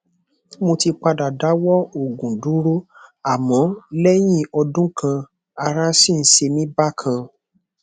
mo ti padà dáwọ òògùn dúró àmọ lẹyìn ọdún kan ará sì ń ṣe mí bákan